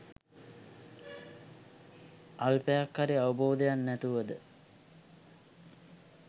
අල්පයක් හරි අවබෝධයක් නැතුවද